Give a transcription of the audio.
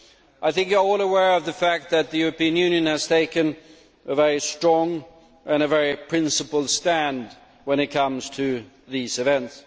I think you are all aware of the fact that the European Union has taken a very strong and a very principled stand when it comes to these events.